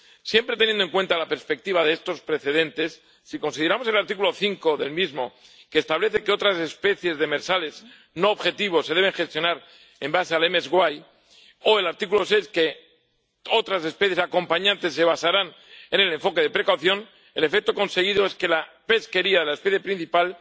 Siempre teniendo en cuenta la perspectiva de estos precedentes, si consideramos el artículo 5 del mismo, que establece que otras especies demersales no objetivo se deben gestionar con base en el rendimiento máximo sostenible, o el artículo 6, según el cual otras especies acompañantes se basarán en el enfoque de precaución, el efecto conseguido es que la pesquería de la especie principal